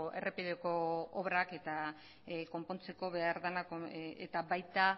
errepideko obrak egiten eta konpontzeko behar dena eta baita